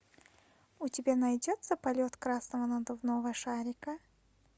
у тебя найдется полет красного надувного шарика